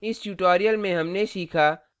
इस tutorial में हमने सीखा